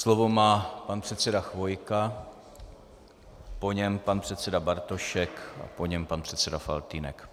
Slovo má pan předseda Chvojka, po něm pan předseda Bartošek a po něm pan předseda Faltýnek.